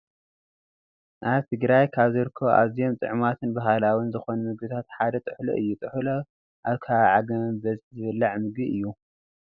ኣብ ትግራይ ካብ ዝርከቡ ኣዝዮም ጥዕማትን ባህላዊን ዝኾኑ ምግብታት ሓደ ጥሕሎ እዩ፡፡ ጥሕሎ ኣብ ከባቢ ዓጋመ ብበዝሒ ዝብላዕ ምግቢ እዩ፡፡